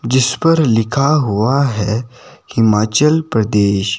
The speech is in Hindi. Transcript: जिस पर लिखा हुआ है हिमाचल प्रदेश।